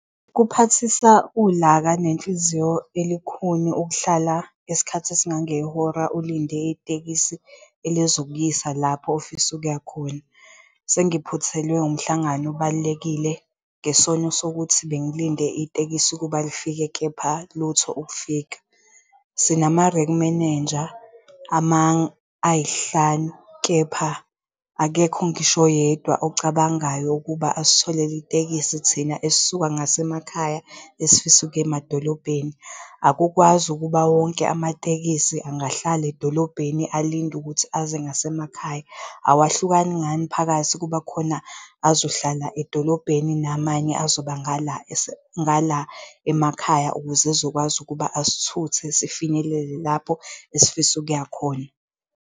Kuphathisa ulaka nenhliziyo elukhuni ukuhlala isikhathi esingangehora ulinde itekisi elizokuyisa lapho ofisa ukuya khona. Sengiphuthelwe wumhlangano obalulekile ngesono sokuthi bengilinde itekisi ukuba lifike, kepha lutho ukufika. Sinama-rank manager ayisihlanu kepha akekho ngisho oyedwa ocabangayo ukuba asitholele itekisi thina esisuka ngasemakhaya, esifisa ukuya emadolobheni. Akukwazi ukuba wonke amatekisi angahlala edolobheni alinde ukuthi aze ngasemakhaya. Awahlukani ngani phakathi kuba khona azohlala edolobheni namanye azoba ngala ngala emakhaya, ukuze ezokwazi ukuba asithuthe sifinyelele lapho esifisa ukuya khona.